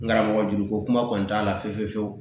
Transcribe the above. N karamɔgɔ juru ko kuma kɔni t'a la fiyewu